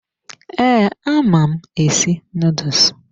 Ee, ama m esi nuduls.